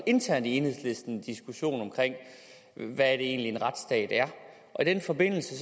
internt i enhedslisten er diskussion om hvad det egentlig er en retsstat er i den forbindelse